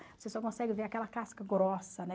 Você só consegue ver aquela casca grossa, né?